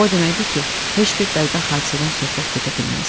O deməkdir ki, heç bir bədbəxt hadisədən söhbət gedə bilməz.